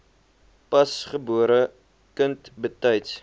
pasgebore kind betyds